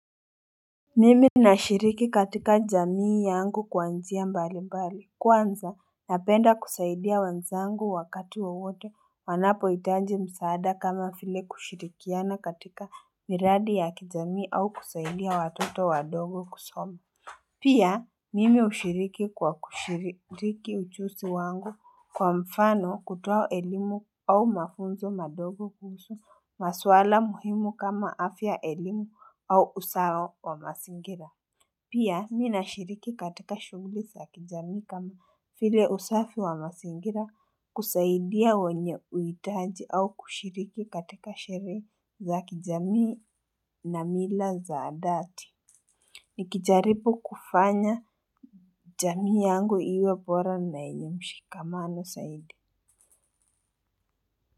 Mimi nashiriki katika jamii yangu kwa njia mbali mbali kwanza napenda kusaidia wenzangu wakati wowote wanapoitaji msaada kama file kushirikiana katika miradi ya kijamii au kusaidia watoto wadogo kusoma Pia mimi ushiriki kwa kushiriki uchusi wangu kwa mfano kutuwa elimu au mafunzo madogo kuhusu maswala muhimu kama afya elimu au usawa wa masingira. Pia mi nashiriki katika shunglisi za kijami kama file usafi wa masingira kusaidia wenye uitaji au kushiriki katika shere za kijami na mila za adati. Nikijaripo kufanya jamii yangu iwe bora na yenye mshikamano zaidi.